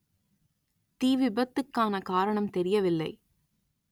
தீ விபத்துக்கான காரணம் தெரியவில்லை